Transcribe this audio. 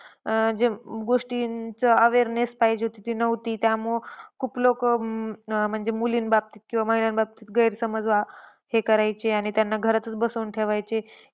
अं जे गोष्टींचा awareness पाहिजे तिथे नव्हती. त्यामुळे खूप लोक म्हणजे, मुलींबाबतीत किंवा महिलांबाबतीत गैरसमाज हे करायचे आणि त्याना घरातच बसवून ठेवायचे.